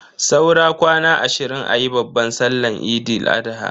Saura kwana ashirin ayi babban sallan Eid Al-adha.